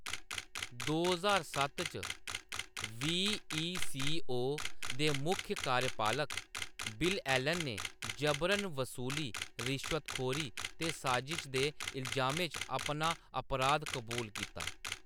दो ज्हार सत्त च, वी.ई.सी.ओ. दे मुक्ख कार्यपालक बिल एलन ने जबरन बसूली, रिश्वतखोरी ते साजिश दे इल्जामें च अपना अपराध कबूल कीता।